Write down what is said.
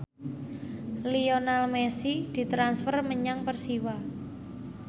Lionel Messi ditransfer menyang Persiwa